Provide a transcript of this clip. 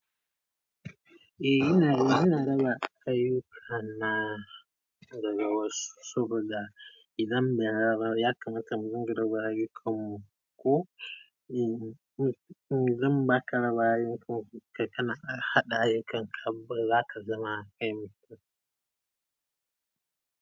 Eh ina, ina raba ayyuka na daga wasu saboda idan bai raba ba ya kamata mu dinga raba ayyukan mu ko in, idan baka raba ayyukan ka kai kana ƙara haɗa ayyukan ka ba za ka zama ainihin.